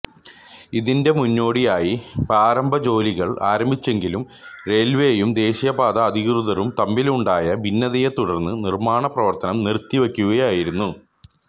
ഇതിന്റെ മുന്നോടിയായി പ്രാരംഭ ജോലികൾ ആരംഭിച്ചെങ്കിലും റെയിൽവേയും ദേശീയ പാത അധികൃതരും തമ്മിലുണ്ടായ ഭിന്നതയെ തുടർന്ന് നിർമ്മാണപ്രവർത്തനം നിറുത്തി വയ്ക്കുകയായിരുന്നു